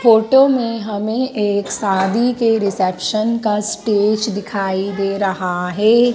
Photo में हमें एक शादी के रिसेप्शन का स्टेज दिखाई दे रहा है।